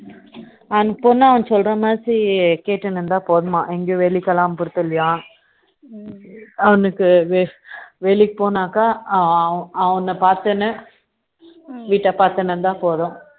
அந்தப் பொண்ணு அவன் சொல்ற மாதிரி கேட்டுட்டு இருந்தா போதுமா எங்கேயும் வேலைக்கெல்லாம் போக தேவை இல்லையாம் அவனுக்கு வேலைக்கு போனாக்கா அவன பாத்துக்கின்னு வீட்ட பார்த்துக்கிட்டே இருந்தா போதும்